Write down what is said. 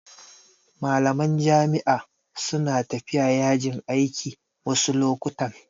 Malaman jami'a su na tafiya yajin aiki wasu lokutan